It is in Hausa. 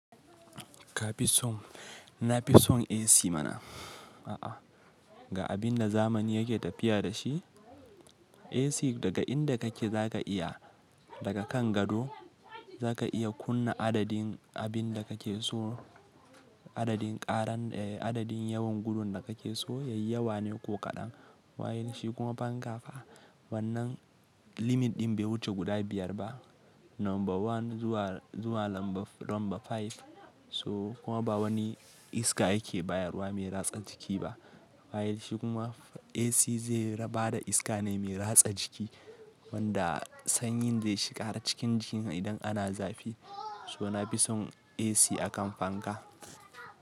Ka fi son? Na fi son AC mana. A'a, ga abin da zamani yake tafiya da shi, AC daga inda kake zaka iya daga kan gado, zaka iya kunna adadin abin da kake so, adadin karan eh adadin yawan gudun da kake so yayi yawa ne ko kaɗan. Wailishi kuma fanka ka, wannan limit ɗin bai wuce guda biyar ba. Number one zuwa, zuwa lambar number five. So kuma ba wani iska yake bayarwa mai ratsa jiki ba. Wailishi kuma AC zai bada iska ne mai ratsa jiki wanda sanyin zai shiga cikin jikin idan ana zafi. So na fi son AC akan fanka.